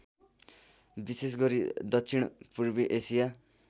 विशेषगरी दक्षिणपूर्वी एसिया